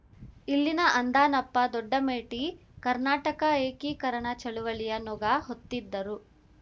ಇಲ್ಲಿನ ಅಂದಾನಪ್ಪ ದೊಡ್ಡಮೇಟಿ ಕರ್ನಾಟಕ ಏಕೀಕರಣ ಚಳುವಳಿಯ ನೊಗ ಹೊತ್ತಿದ್ದರು